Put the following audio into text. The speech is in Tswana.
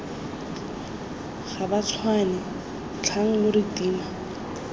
gabatshwane tlhang lo re tima